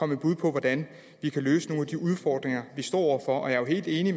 med bud på hvordan vi kan løse nogle af de udfordringer vi står over for jeg er helt enig